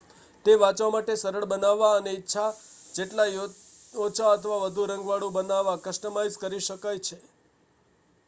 તે વાંચવા માટે સરળ બનાવવા અને ઇચ્છા જેટલા ઓછા અથવા વધુ રંગવાળું બનાવવા કસ્ટમાઇઝ કરી શકાય છે